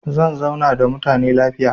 Zan zauna da mutane lafiya.